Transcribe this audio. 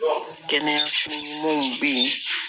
Kɛnɛyaw bɛ ye